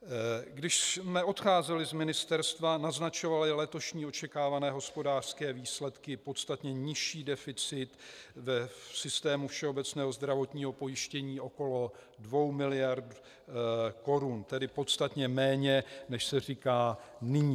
Když jsme odcházeli z ministerstva, naznačovaly letošní očekávané hospodářské výsledky podstatně nižší deficit v systému všeobecného zdravotního pojištění okolo 2 miliard korun, tedy podstatně méně, než se říká nyní.